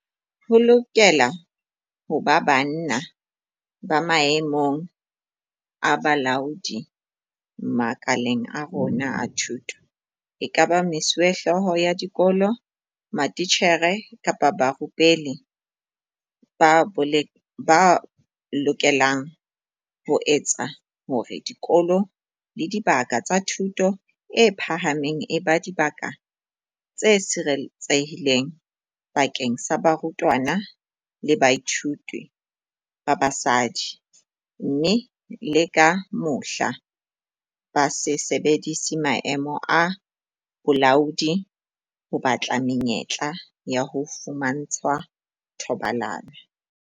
Ho lokela ho ba banna ba maemong a bolaodi makaleng a rona a thuto, ekaba mesuwehlooho ya dikolo, matitjhere kapa barupelli, ba lokelang ho etsa hore dikolo le dibaka tsa thuto e phahameng e be dibaka tse sireletsehileng bakeng sa barutwana le bathuiti ba basadi, mme le ka mohla, ba se sebedise maemo a bolaodi ho batla menyetla ya ho fumantshwa thobalano.